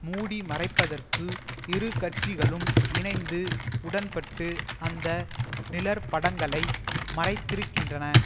மூடிமறைப்பதற்கு இரு கட்சிகளும் இணைந்து உடன்பட்டு அந்த நிழற்படங்களை மறைத்திருக்கின்றன